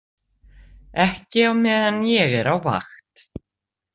Ekki á meðan ég er á vakt